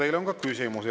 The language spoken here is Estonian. Teile on ka küsimusi.